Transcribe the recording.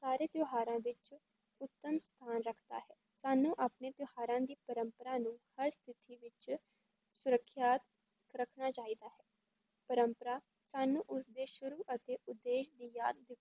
ਸਾਰੇ ਤਿਉਹਾਰਾਂ ਵਿੱਚ ਉੱਤਮ ਸਥਾਨ ਰੱਖਦਾ ਹੈ, ਸਾਨੂੰ ਆਪਣੇ ਤਿਉਹਾਰਾਂ ਦੀ ਪਰੰਪਰਾ ਨੂੰ ਹਰ ਸਥਿਤੀ ਵਿੱਚ ਸੁਰੱਖਿਆ ਰੱਖਣਾ ਚਾਹੀਦਾ ਹੈ, ਪਰੰਪਰਾ ਸਾਨੂੰ ਉਸਦੇ ਸ਼ੁਰੂ ਅਤੇ ਉਦੇਸ਼ ਨੂੰ ਯਾਦ